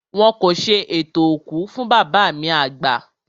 Wọn kò ṣe ètò òkú fún bàbá mi àgbà